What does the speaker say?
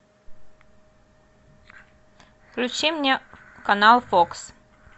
включи мне канал фокс